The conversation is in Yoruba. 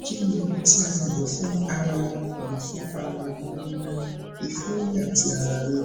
kí ni oògùn tí a lè lò fún ara lò fún ara gbigbona ẹforí àti ara ríro